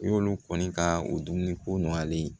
N y'olu kɔni ka dumuni ko nɔgɔyalen ye